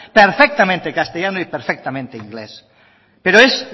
perfectamente castellano y perfectamente inglés pero es